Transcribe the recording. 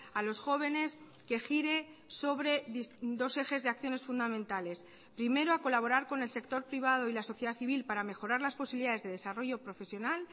a los jóvenes que gire sobre dos ejes de acciones fundamentales primero a colaborar con el sector privado y la sociedad civil para mejorar las posibilidades de desarrollo profesional